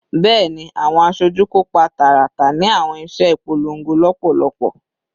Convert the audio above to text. Bẹẹni, awọn aṣoju kopa taratara ni awọn iṣẹ ipolongo lọpọlọpọ